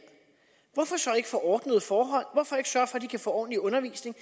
hvorfor så ikke få ordnede forhold hvorfor ikke sørge for at de kan få ordentlig undervisning